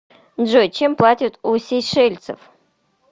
джой чем платят у сейшельцев